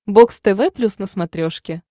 бокс тв плюс на смотрешке